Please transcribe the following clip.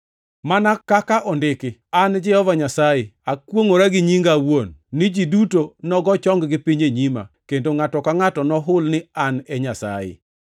Mana kaka ondiki: “An Jehova Nyasaye, ‘Akwongʼora gi nyinga awuon, ni ji duto nogo chong-gi piny e nyima kendo ngʼato ka ngʼato nohul ni an e Nyasaye.’ ”+ 14:11 \+xt Isa 45:23\+xt*